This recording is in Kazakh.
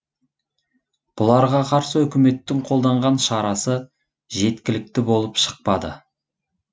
бұларға қарсы үкіметтің қолданған шарасы жеткілікті болып шықпады